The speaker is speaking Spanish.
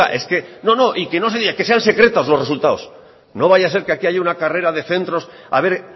es que no no que no se diga que sean secretos los resultados no vaya a ser que aquí haya una carrera de centros a ver